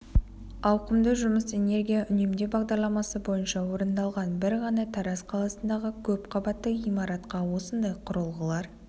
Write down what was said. ауқымды жұмыс энергия үнемдеу бағдарламасы бойынша орындалған бір ғана тараз қаласындағы көп қабатты ғимаратқа осындай құрылғылар